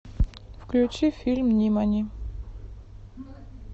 включи фильм нимани